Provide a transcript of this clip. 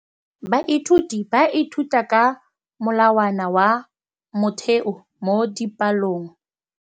Baithuti ba ithuta ka molawana wa motheo mo dipalong.